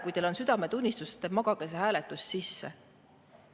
Kui teil on südametunnistust, siis magage see hääletus maha.